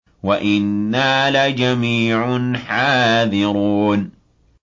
وَإِنَّا لَجَمِيعٌ حَاذِرُونَ